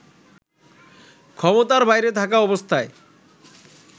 ক্ষমতার বাইরে থাকা অবস্থায়